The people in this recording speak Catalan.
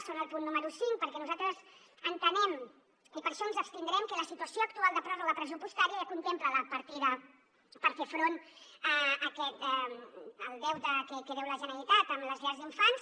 és el punt número cinc perquè nosaltres entenem i per això ens abstindrem que la situació actual de pròrroga pressupostària ja contempla la partida per fer front al deute que deu la generalitat a les llars d’infants